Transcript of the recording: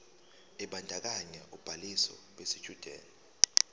ebandakanya ubhaliso yesitshudeni